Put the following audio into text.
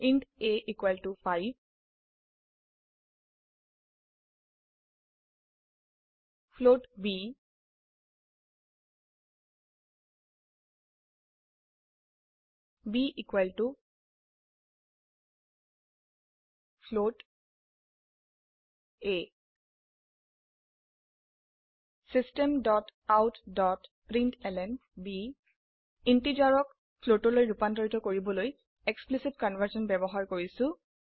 int a 5 float ব b a systemoutপ্ৰিণ্টলন ইন্টিজাৰক ফ্লোটৰলৈ্ৰুপান্তৰিত কৰিবলৈ এক্সপ্লিসিট কনভাৰ্সন ব্যবহাৰ কৰিছো